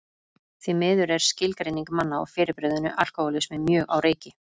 Því miður er skilgreining manna á fyrirbrigðinu alkohólismi mjög á reiki.